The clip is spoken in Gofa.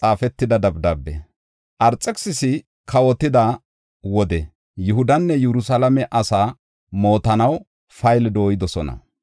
Arxekisisi kawotida wode Yihudanne Yerusalaame asaa mootanaw payle dooyidosona.